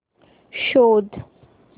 शोध